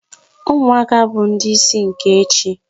Umuaka bu ndi isi nke echi